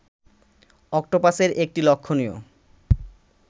অক্টোপাসের একটি লক্ষণীয়